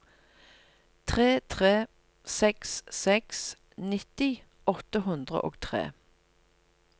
tre tre seks seks nitti åtte hundre og tre